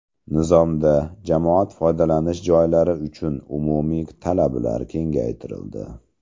Nizomda jamoat foydalanish joylari uchun umumiy talablar kengaytirildi.